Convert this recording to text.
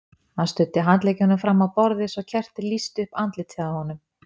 Hann studdi handleggjunum fram á borðið svo kertið lýsti upp andlitið á honum.